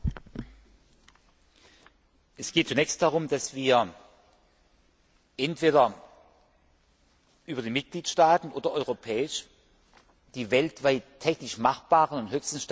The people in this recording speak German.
Es geht zunächst darum, dass wir uns entweder über die Mitgliedstaaten oder europäisch die weltweit technisch machbaren und höchsten Standards zu eigen machen.